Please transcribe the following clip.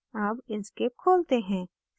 अब inkscape खोलते हैं